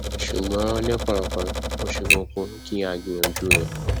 ṣùgbọn lẹẹkọọkan ó ṣe kókó kí a gbìyànjú ẹ